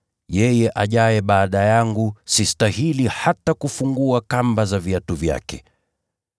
Yeye ajaye baada yangu, sistahili hata kufungua kamba za viatu vyake.”